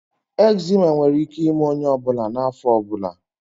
Eczema nwere ike ime onye ọ bụla n'afọ ọ bụla